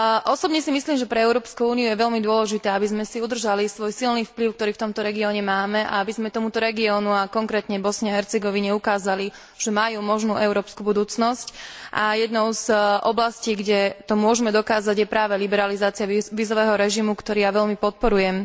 Osobne si myslím, že pre Európsku úniu je veľmi dôležité, aby sme si udržali svoj silný vplyv, ktorý v tomto regióne máme, a aby sme tomuto regiónu, a konkrétne Bosne a Hercegovine, ukázali, že majú možnú európsku budúcnosť, pričom jednou z oblastí, kde to môžme dokázať, je práve liberalizácia vízového režimu, ktorý ja veľmi podporujem.